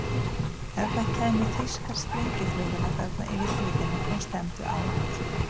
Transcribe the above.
Ef það kæmu þýskar sprengjuflugvélar þarna yfir hlíðina og stefndu á okkur?